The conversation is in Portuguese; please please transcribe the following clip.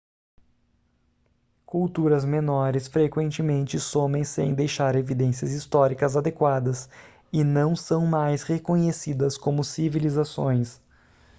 culturas menores frequentemente somem sem deixar evidências históricas adequadas e não são mais reconhecidas como civilizações